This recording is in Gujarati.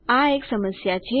આ એક સમસ્યા છે